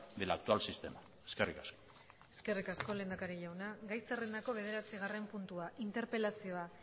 del actual sistema eskerrik asko eskerrik asko lehendakari jauna gai zerrendako bederatzigarren puntua interpelazioa